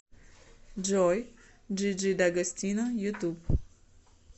джой джиджи дагостино ютуб